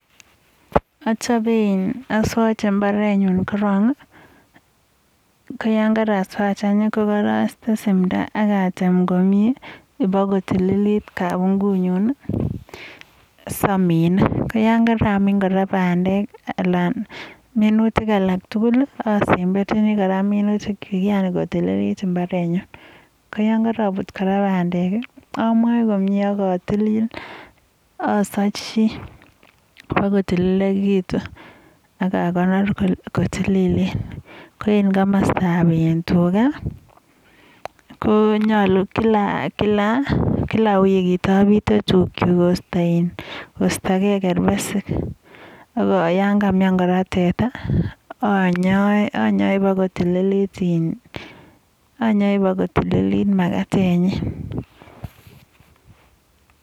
Achein, aswache imbaretyu kiron, koyon karaswach any, kokaraiste simto ak atem komie bo kotililit kaingunyu saminei. koyon karamin kora pandek, anan minutik alak tugul asemberchini kora minutik chu, kotililit imbarenyu. Kiyan karabut kora pandek, amae komie ak tilil. Asachi bokotililekitu ak akonor kotililen. Ko en komostab tuga, konyalu kila wikit abite tugchu koistagei kerbesik , ak yon kamian kora teta, anyoe bo kotililit makatenyi.